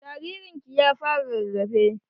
Jaririn ki ya fara rarafe?